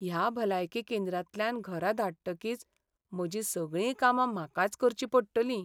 ह्या भलायकी केंद्रांतल्यान घरा धाडटकीच म्हजीं सगळीं कामां म्हाकाच करचीं पडटलीं.